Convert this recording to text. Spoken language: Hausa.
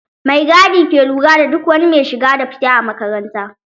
Mai gadi ke lura da duk wani mai shiga da fita a makaranta